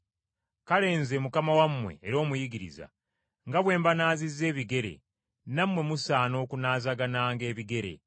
Kale Nze Mukama wammwe era Omuyigiriza, nga bwe mbanaazizza ebigere, nammwe musaana okunaazagananga ebigere.